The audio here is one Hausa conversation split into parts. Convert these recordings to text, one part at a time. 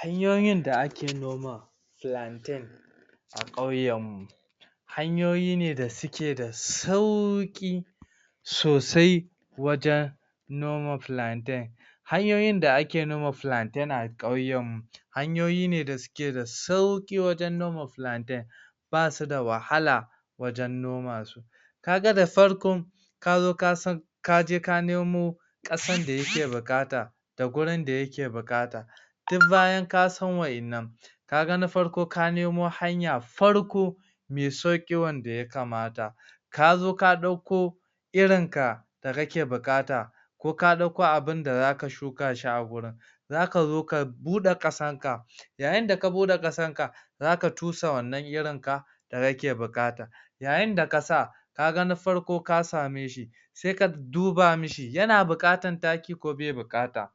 Hanyoyin da ake noman plantain a kauyen mu hanyoyi ne da suke da sauki sosai wajen noma plantain hanyoyi da ake noma plantain a kauyen mu hanyoyi ne da suke da sauki wajen noma plantain ba su da wahala wajen noma su ka gan da farkon ka zo ka san ka je ka nemo qasan da ya ke bukata da gurin da ya ke bukata duk bayan ka san wa'en nan ka gan na farko, ka nemo hanya farko mai sauki, wanda ya kamata ka zo ka dauko irin ka da kake buka'ta ko ka ɗauko abin da da zaka shuka shi a wurin za ka zo ka bude qasan ka yayin da ka bude qasan ka za ka tusa wanan irin ka da kake bukata yayin da kasa ka gan na farko ka same shi sai ka duba mishi, yana bukatar taki ko be bukata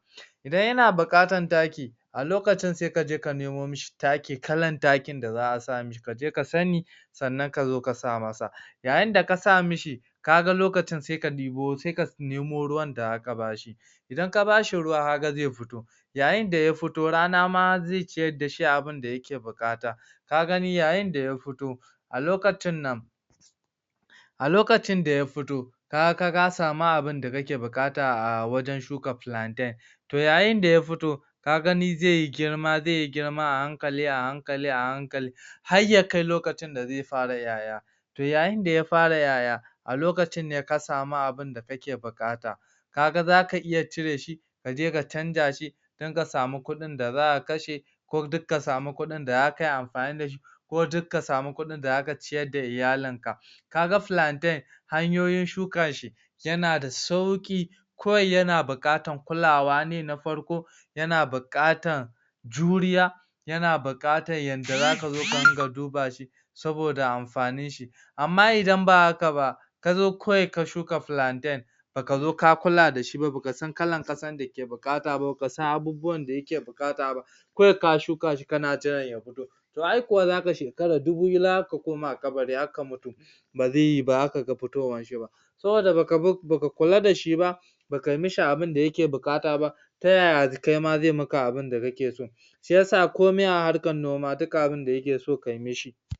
idan yana bukatar taki a lokacin, sai ka je ka nimo mishi taki, kalan takin da a sa mishi, ka je ka sani sanan ka zo ka sa masa yayin da kasa mishi ka gan lokacin, sai ka dibo, sai ka nimo ruwan da za ka bashi idan ka bashi ruwa, ka gan zai fito yayin da ya fito, rana ma zai chiyar da shi abun da yake bukata ka gani, yayin da ya fito a lokacin nan a lokacin da ya fito ka gan ka sami abun da kake bukata a wurin shuka plantain toh yayin da ya fito zai yi girma, zai yi girma a hankali, a hankali, a hankali har ya kai lokacin da zai fara 'ya 'ya yayin da ya fara 'ya 'ya a lokacin ne, ka samu abun da kake bukuta ka gan, za ka iya chire shi ka je ka chanja shi dan ka sami kudin da za ka kashe ko duk ka sami kudin da zakayi amfani dashi ko duk ka sami kudin da za ka chiyar da iyalin ka ka gan plaintain hanyoyin shuka shi yana da sauki kawai yana bukutar kulawa ne, na farko yana bukatar juriya yana bukatar yada za ka zo, ka ringa duba shi saboda amfanin shi ama idan ba haka ba ka zo kawai ka shuka plantain ba ka zo ka kula da shi ba, ba ka san kalan kasar da ke bukata ba, ba ka san abubuwan da ya ke bukata ba kawai ka shuka shi, kana jiran shi ya fito toh ai kuwa, za ka shekara duhu, za ka koma kabari har ka mutu ba zai yi ba, ba zaka gan fitowan shi ba saboda ba bar, ba ka kula da shi ba ba ka yi mishi abun da yake bukata ba ta yaya, kai ma zai yi maka abin da kake so shiyasa komai a harkan noma, duka abun da yake so, ka yi mishi